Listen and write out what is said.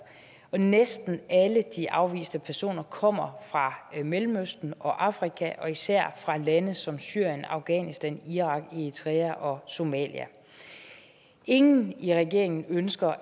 og næsten alle de afviste personer kommer fra mellemøsten og afrika og især fra lande som syrien afghanistan irak eritrea og somalia ingen i regeringen ønsker